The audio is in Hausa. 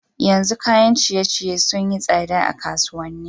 Yanzun kayan ciye ciye sunayi tsada a kasuwanni